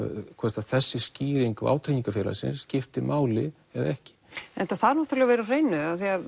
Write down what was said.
hvort að þessi skýring vátryggingafélagsins skipti máli eða ekki en þetta þarf náttúrulega að vera á hreinu af því